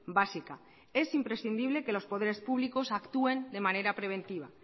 básica es imprescindible que los poderes públicos actúen de manera preventiva